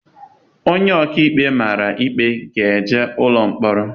Onye ọkaikpe mara ikpe na-enye ụlọ mkpọrọ.